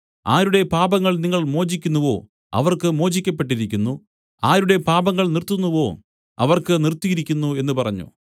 ആരുടെ പാപങ്ങൾ നിങ്ങൾ മോചിക്കുന്നവോ അവർക്ക് മോചിക്കപ്പെട്ടിരിക്കുന്നു ആരുടെ പാപങ്ങൾ നിർത്തുന്നുവോ അവർക്ക് നിർത്തിയിരിക്കുന്നു എന്നു പറഞ്ഞു